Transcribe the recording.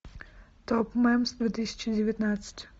топ мемс две тысячи девятнадцать